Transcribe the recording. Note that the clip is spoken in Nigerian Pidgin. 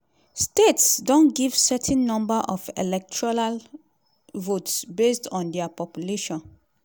states don give certain number of electoral votes based on dia population.